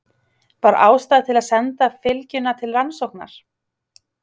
Var ástæða til að senda fylgjuna til rannsóknar?